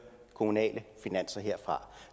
kommunale finanser